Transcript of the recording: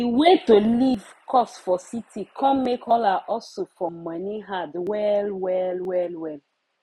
de way to live cost for city com make all her hustle for money hard well well well well